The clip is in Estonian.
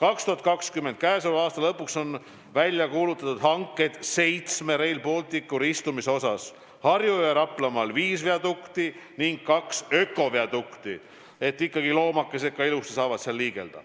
käesoleva aasta lõpuks on välja kuulutatud hanked, mis puudutavad seitset Rail Balticuga ristuvat kohta: Harju- ja Raplamaal viis viadukti ning kaks ökodukti, et loomakesed ka ilusti saaksid seal liikuda.